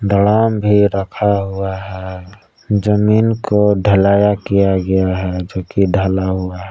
Drum भी रखा हुआ है जमीन को ढलेया किया हुआ है जो कि ढला हुआ है।